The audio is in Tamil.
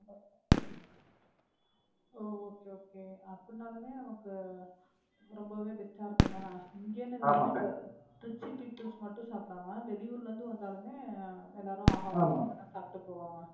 ஓ Okay okay அப்படினாலுமே நமக்குரொம்பவே Rich ஆ இருக்குந்தானா இங்கேன்னா Rich people மட்டும் சாப்பிடாம, வெளியூரிலிருந்து வந்தாலுமே எல்லாரும் ஆகாரம் சாப்பிட்டு போவாங்க.